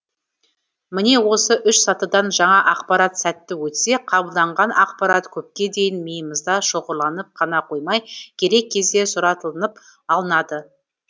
міне осы үш сатыдан жаңа ақпарат сәтті өтсе қабылданған ақпарат көпке дейін миымызда шоғырланып қана қоймай керек кезде сұратылынып алынады